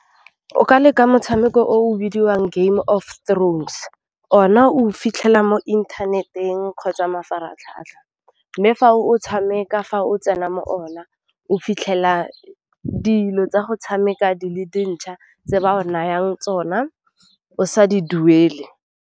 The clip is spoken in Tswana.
O ka leka motshameko o o bidiwang Game of Thrones, o na o fitlhela mo inthaneteng kgotsa mafaratlhatlha, mme fa o tshameka fa o tsena mo ona, o fitlhela dilo tsa go tshameka di le dintšha tse ba o nayang tsona o sa di duele.